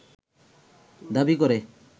দাবি করে